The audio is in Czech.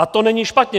A to není špatně.